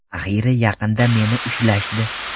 Axiyri yaqinda meni ushlashdi.